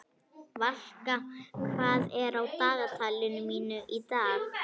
Valka, hvað er á dagatalinu mínu í dag?